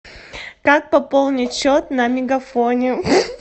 как пополнить счет на мегафоне